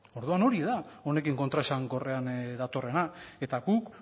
orduan hori da honekin kontraesankorrean datorrena guk